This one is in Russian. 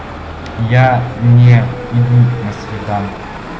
я не иду на свиданку